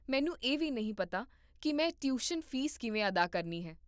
ਮੈਨੂੰ ਇਹ ਵੀ ਨਹੀਂ ਪਤਾ ਕੀ ਮੈਂ ਟਿਊਸ਼ਨ ਫੀਸ ਕਿਵੇਂ ਅਦਾ ਕਰਨੀ ਹੈ